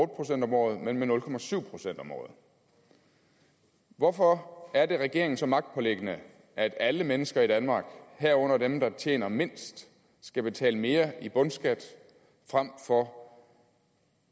procent om året men med nul procent om året hvorfor er det regeringen så magtpåliggende at alle mennesker i danmark herunder dem der tjener mindst skal betale mere i bundskat frem for